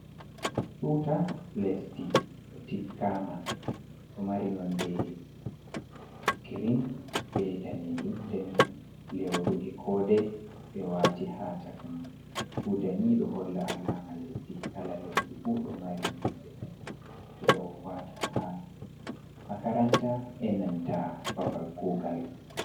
Tuta lesdi ɗo tiggama ɗo mari nonde girin be danejum nden lewru e'kode ɓe wati ha chaka man. Tuta ni ɗo holla alama lesdi. Kala lesdi fu ɗo mari nonde mun. Ɓeɗo wata ha makaranta e'nanta babal kugal.